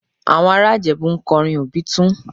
Àwọn ará Ìjẹ̀bú ń kọrin Obitun